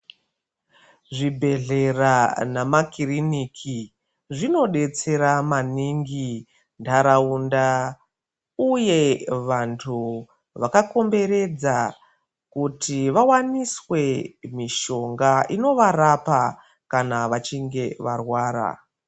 Zvibhehlera nemakiriniki zvinodetsera maningi ndaraunda uye vantu vakakomberedza kuti vawaniswe mushonga inovarapa kana vachinge vairwara.